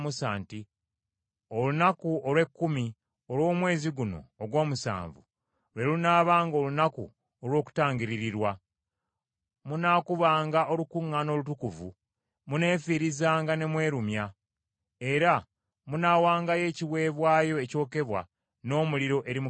“Olunaku olw’ekkumi olw’omwezi guno ogw’omusanvu lwe lunaabanga Olunaku olw’Okutangiririrwa. Munaakubanga olukuŋŋaana olutukuvu, muneefiirizanga ne mwerumya, era munaawangayo ekiweebwayo ekyokebwa n’omuliro eri Mukama Katonda.